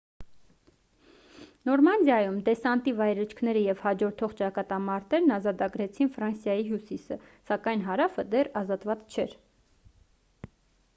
նորմանդիայում դեսանտի վայրէջքները և հաջորդող ճակատամարտերն ազատագրեցին ֆրանսիայի հյուսիսը սակայն հարավը դեռ ազատված չէր